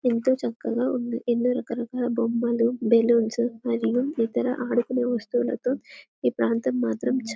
ఎంతో చక్కగా ఉంది ఎన్నో రకాల బొమ్మలు బెలూన్లు మరియు ఇతర ఆడుకునే వస్తువులతో ఈ ప్రాంతం మాత్రం చాలా--